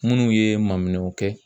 Munnu ye maminɛnw kɛ.